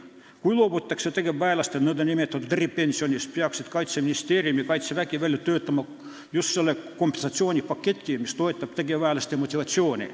Kui loobutakse tegevväelaste nn eripensionist, peaksid Kaitseministeerium ja Kaitsevägi välja töötama kompensatsioonipaketi, mis toetab tegevväelaste motivatsiooni.